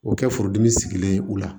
O kɛ furudimi sigilen ye u la